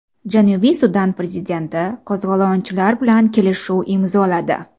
Janubiy Sudan prezidenti qo‘zg‘olonchilar bilan kelishuv imzoladi.